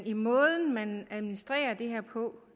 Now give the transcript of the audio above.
måde man administrerer det her på